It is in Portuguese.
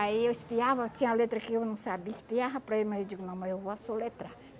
Aí eu espiava, tinha letra que eu não sabia, espiava para ele, mas eu digo, não, mas eu vou assoletrar.